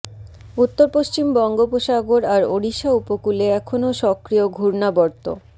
উত্তর পশ্চিম বঙ্গপোসাগর আর ওড়িশা উপকূলে এখনও সক্রিয় ঘূর্ণাবর্ত